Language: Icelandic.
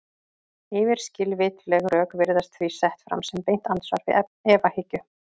Yfirskilvitleg rök virðast því sett fram sem beint andsvar við efahyggju.